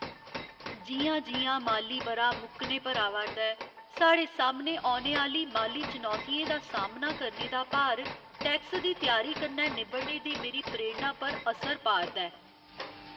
जि'यां जि'यां माली ब'रा मुक्कने पर आवा'रदा ऐ, साढ़े सामने औने आह्‌ली माली चुनौतियें दा सामना करने दा भार टैक्स दी त्यारी कन्नै निब्बड़ने दी मेरी प्रेरणा पर असर पा'रदा ऐ।